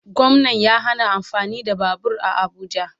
Gwamnan ya hana amfani da babur a abuja